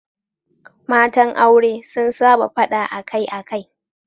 Matan aure sun saba fada akai-akai.